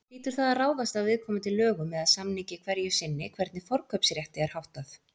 Hlýtur það að ráðast af viðkomandi lögum eða samningi hverju sinni hvernig forkaupsrétti er háttað.